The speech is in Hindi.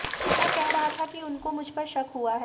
वह कह रहा था कि उनको मुझपर शक हुआ है